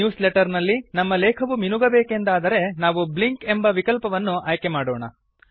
news letter ನಲ್ಲಿ ನಮ್ಮ ಲೇಖವು ಮಿನುಗಬೇಕೆಂದಾದರೆ ನಾವು ಬ್ಲಿಂಕ್ ಎಂಬ ವಿಕಲ್ಪವನ್ನು ಆಯ್ಕೆ ಮಾಡೋಣ